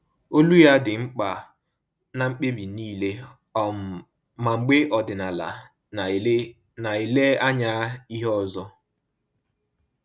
Olu ya dị mkpa na mkpebi niile, um ma mgbe ọdịnala na-ele na-ele anya ihe ọzọ